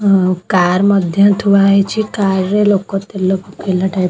ଉନ car ମଧ୍ୟ ଥୁଆ ହୋଇଛି କାର ରେ ଲୋକ ତେଲ ତେଲ ପକେଇଲା ଟାଇପ୍ --